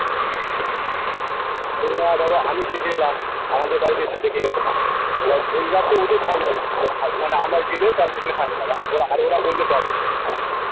না দ্যাখো আমি লাভ নেই আমাদের বাড়িতে গেলো এইবার তো ওদের হবে মানে আমরা জেনে তাহলে সেখানে নেবো আর ওরা বললে তবে